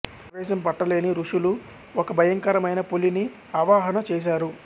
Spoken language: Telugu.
ఆవేశం పట్టలేని ఋషులు ఒక భయంకరమైన పులిని ఆవాహన చేశారు